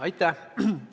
Aitäh!